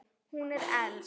Hún er elst.